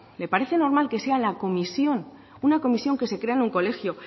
le parece normal que sea la comisión una comisión que se crea en un colegio